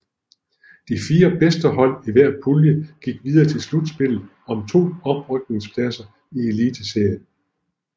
De fire bedste hold i hver pulje gik videre til slutspillet om to oprykningspladser til Eliteserien